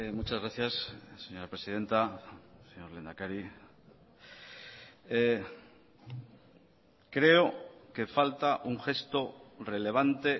muchas gracias señora presidenta señor lehendakari creo que falta un gesto relevante